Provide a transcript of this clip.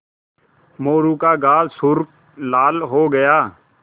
मोरू का गाल सुर्ख लाल हो गया